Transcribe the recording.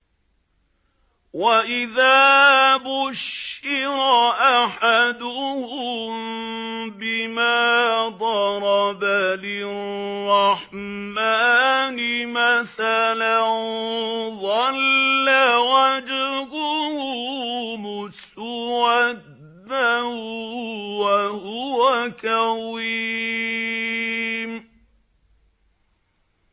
وَإِذَا بُشِّرَ أَحَدُهُم بِمَا ضَرَبَ لِلرَّحْمَٰنِ مَثَلًا ظَلَّ وَجْهُهُ مُسْوَدًّا وَهُوَ كَظِيمٌ